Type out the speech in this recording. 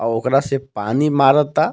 और ओकरा से पानी मारता.